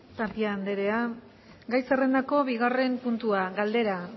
tapia anderea gai zerrendako bigarren puntua galdera